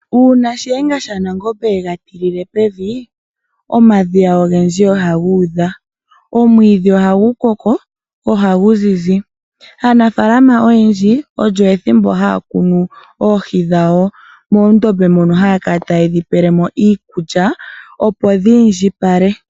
Uuna Shiyenga shaNangombe ye ga tilile pevi, omadhiya ogendji ohaga udha. Omwiidhi ohagu koko go ohagu zizi. Aanafaalama oyendji olyo ethimbo haya kunu oohi dhawo moondombe moka haya kala taye dhi pele mo iikulya, opo dhi indjipale.